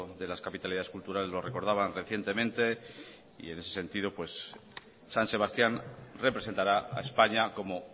de las capitalidades culturales lo recordaban recientemente y en ese sentido san sebastián representará a españa como